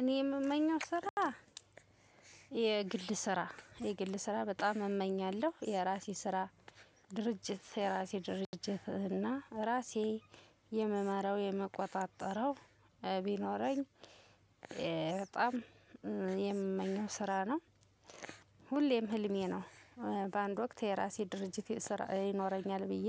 እኔ የምመኘው ስራ የግል ስራ የግል ስራ በጣም እመኛለሁ የራሴ ስራ ድርጅት የራሴ ድርጅት እና ራሴ የምመራው የምቆጣጠረው ቢኖረኝ በጣም የምመኘው ስራ ነው። ሁሌም ህልሜ ነው። በአንድ ወቅት የራሴ ድርጅት ይኖረኛል ብዬ